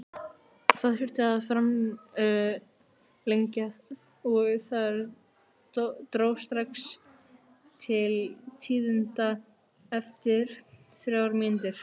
Það þurfti að framlengja og þar dró strax til tíðinda eftir þrjár mínútur.